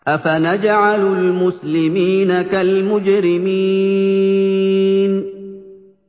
أَفَنَجْعَلُ الْمُسْلِمِينَ كَالْمُجْرِمِينَ